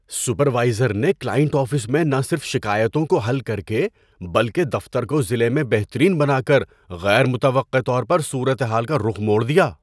Supervisor نے client office میں نہ صرف شکایتوں کو حل کر کے بلکہ دفتر کو ضلع میں بہترین بنا کر غیر متوقع طور پر صورت حال کا رخ موڑ دیا۔